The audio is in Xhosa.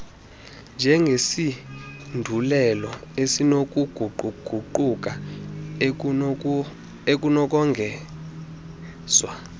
njengesindululo esinokuguquguquka ekunokongezwa